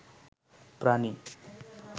প্রাণী